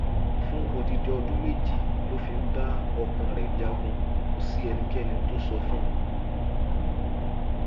fún odidi ọdún méjì tó fi ń bá ọkàn rẹ jagun kò sí ẹnikẹni tó sọ fún